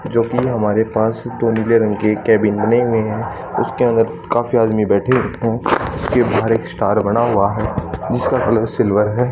जो कि हमारे पास दो नीले रंग के केबिन बने हुए है उसके अंदर काफी आदमी बैठे हैं उसके बाहर एक स्टार बना हुआ है जिसका कलर सिल्वर है।